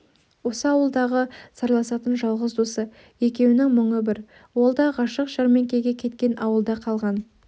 осы ауылдағы сырласатын жалғыз досы екеуінің мұңы бір ол да ғашық жәрмеңкеге кеткен ауылда қалған